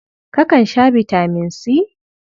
Kakan sha bitaman C?